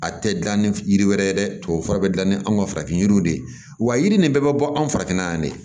A tɛ gilan ni yiri wɛrɛ ye dɛ tubabu fura bɛ dilan ni an ka farafin yiriw de ye wa yiri nin bɛɛ bɛ bɔ anw farafinna yan de